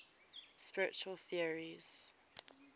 spiritual theories